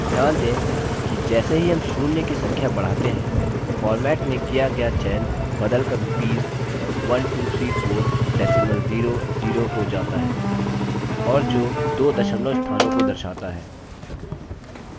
ध्यान दें कि जैसे ही हम शून्य की संख्या बढ़ाते हैं format में किया गया चयन बदल कर rupees 1234 decimal zero zero हो जाता है और जो दो दशमलव स्थानों को दर्शाता है